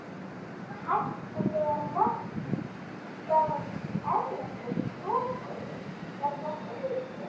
Hætti þegar markaðir erlendis lokuðust vegna stríðsins.